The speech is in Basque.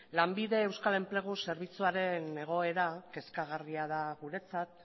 lanbide euskal enplegu zerbitzuaren egoera kezkagarria da guretzat